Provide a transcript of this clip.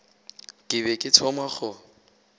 ke be ke thoma go